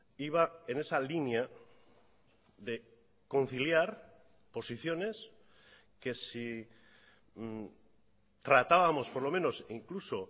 iba en esa línea de conciliar posiciones que si tratábamos por lo menos incluso